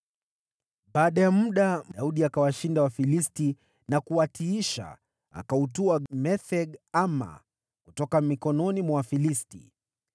Baada ya muda, Daudi akawashinda Wafilisti na kuwatiisha, naye akautwaa Metheg-Amma kutoka mikononi mwa Wafilisti.